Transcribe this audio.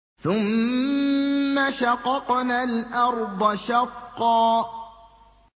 ثُمَّ شَقَقْنَا الْأَرْضَ شَقًّا